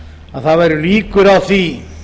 að það væru líkur á því